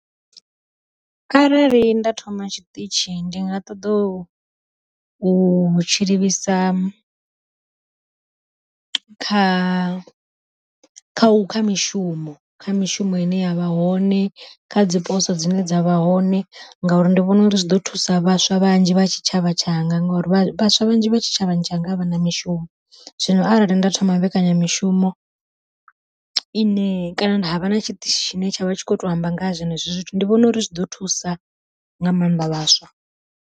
Arali nda thoma tshiṱitshi ndi nga ṱoḓa u u tshi livhisa, kha kha kha mishumo kha mishumo ine yavha hone, kha dzi poso dzine dza vha hone ngauri ndi vhona uri zwi ḓo thusa vhaswa vhanzhi vha tshitshavha tshanga ngauri vhaswa vhanzhi vha tshitshavha tshanga avhana mishumo. Zwino arali nda thoma mbekanyamishumo ine kana havha na tshiṱitshi tshine tsha vha tshi kho to amba nga ha zwenezwi zwithu, ndi vhona uri zwi ḓo thusa nga maanḓa vhaswa.